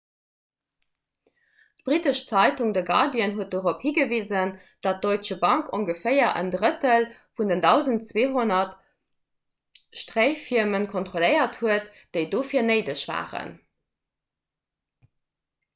d'brittesch zeitung the guardian huet dorop higewisen datt d'deutsche bank ongeféier en drëttel vun den 1200 stréifirmen kontrolléiert huet déi dofir néideg waren